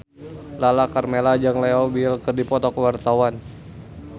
Lala Karmela jeung Leo Bill keur dipoto ku wartawan